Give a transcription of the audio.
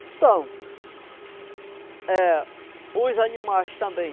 Então, é os animais também.